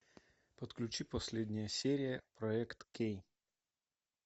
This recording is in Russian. подключи последняя серия проект кей